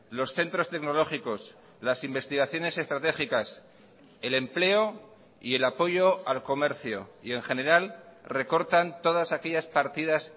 los centros tecnológicos las investigaciones estratégicas el empleo y el apoyo al comercio y en general recortan todas aquellas partidas